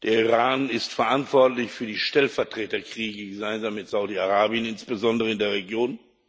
Der Iran ist verantwortlich für die Stellvertreterkriege, gemeinsam mit Saudi Arabien, insbesondere in der Region.